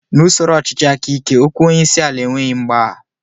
N'usoro ọchịchị aka ike, okwu onyeisiala enweghị mgbagha